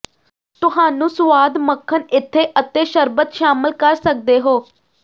ਤੁਹਾਨੂੰ ਸੁਆਦ ਮੱਖਣ ਏਥੇ ਅਤੇ ਸ਼ਰਬਤ ਸ਼ਾਮਲ ਕਰ ਸਕਦੇ ਹੋ